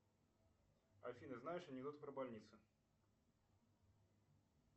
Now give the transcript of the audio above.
афина знаешь анекдот про больницу